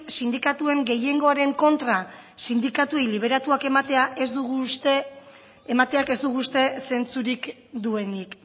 sindikatuen gehiengoaren kontra sindikatuei liberatuak emateak ez dugu uste zentzurik duenik